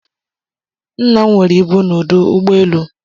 Nna nwere ibu n'udu ugboelu